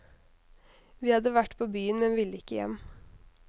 Vi hadde vært på byen, men ville ikke hjem.